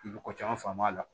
I bɛ ko caman faamu a la